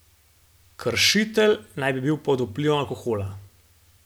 Kršitelj naj bi bil pod vplivom alkohola.